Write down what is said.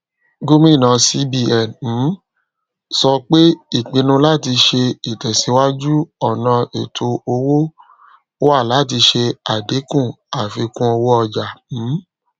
gomina cbn um so pe ipinnu lati se itesiwaju ona eto owo wa lati se adinku afikunowooja um